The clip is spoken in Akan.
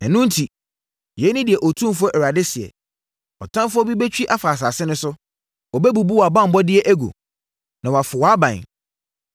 Ɛno enti, yei ne deɛ Otumfoɔ Awurade seɛ, “Ɔtamfoɔ bi bɛtwi afa asase no so; Ɔbɛbubu wʼabanbɔeɛ agu, na wafo wʼaban.”